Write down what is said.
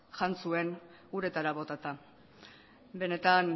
jan zuen uretara botata benetan